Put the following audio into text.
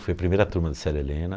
Fui a primeira turma de Célia Helena.